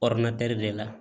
de la